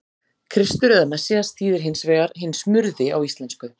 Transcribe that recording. Kristur eða Messías þýðir hins vegar hinn smurði á íslensku.